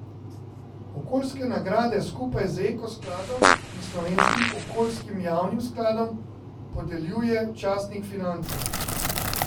Okoljske nagrade skupaj z Eko skladom in Slovenskim okoljskim javnim skladom podeljuje časnik Finance.